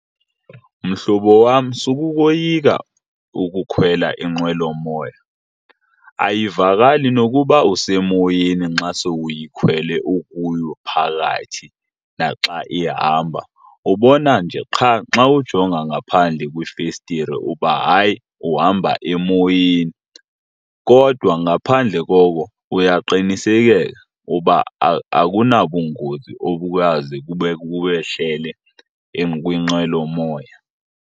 Mhlobo wam, sukukoyika ukukhwela inqwelomoya. Ayivakali nokuba usemoyeni nxa sowuyikhwele ukuyo phakathi naxa ihamba. Ubona nje qha xa ujonga ngaphandle kwifestire uba hayi uhamba emoyeni. Kodwa ngaphandle koko uyaqinisekeka uba akunabungozi obuyaze bukwehlele kwinqwelomoya.